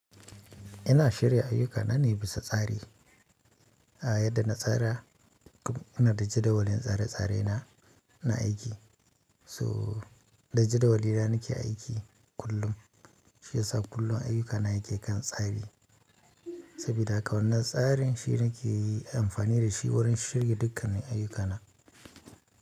Ina shirya ayyukana ne a bisa tsari a yadda na tsara inada jadawalin tsare-tsare na, na aiki. So da jadawali na nake aiki kullum shi ya sa kullum ayyukana yake kan tsari sabida haka wannan tsarin shi nake yi amfani da shi wurin shirye dukkanin ayyukana.